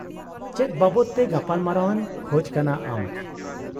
-ᱪᱮᱫ ᱵᱟᱵᱚᱫ ᱛᱮ ᱜᱟᱯᱟᱞᱢᱟᱨᱟᱣ ᱮᱢ ᱠᱷᱚᱪ ᱠᱟᱱᱟ ᱟᱢ ?